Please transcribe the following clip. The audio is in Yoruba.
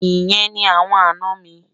Ìyẹn ni awọn àná mi.